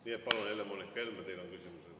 Nii et palun, Helle-Moonika Helme, teil on küsimus.